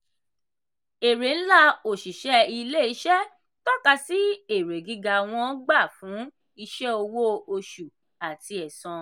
èrè ńlá òṣìṣẹ́ ilé-iṣẹ́ tọ́ka sí èrè gíga wọn gbà fún iṣẹ́ owó oṣù àti ẹ̀san.